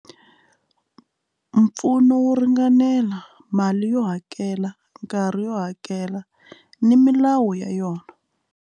Mpfuno wo ringanela mali yo hakela nkarhi yo hakela ni milawu ya yona.